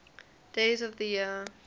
days of the year